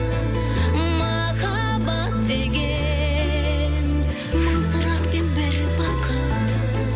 махаббат деген мың сұрақ пен бір бақыт